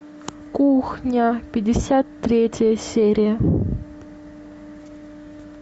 кухня пятьдесят третья серия